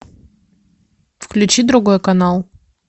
включи другой канал